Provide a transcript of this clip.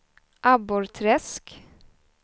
Abborrträsk